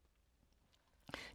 DR K